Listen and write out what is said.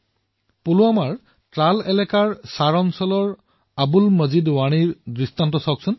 পুলৱামাৰ ত্ৰালৰ শাৰ এলেকাৰ বাসিন্দা আব্দুল মজিদ বাণীকেই চাওক